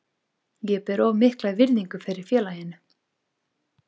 Ég ber of mikla virðingu fyrir félaginu.